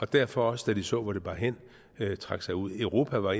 derfor også da de så hvor det bar hen trak sig ud europa var